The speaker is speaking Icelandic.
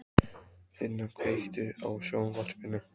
Finna, kveiktu á sjónvarpinu.